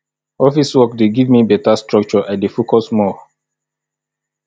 office work dey give me beta structure i dey focus more